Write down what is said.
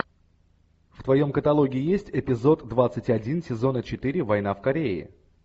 в твоем каталоге есть эпизод двадцать один сезона четыре война в корее